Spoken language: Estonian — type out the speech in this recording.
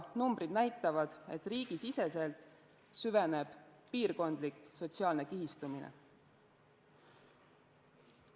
Numbrid näitavad, et riigisiseselt süveneb piirkondlik sotsiaalne kihistumine.